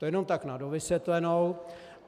To jenom tak na dovysvětlenou.